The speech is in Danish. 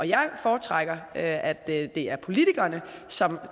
jeg foretrækker at det er politikerne som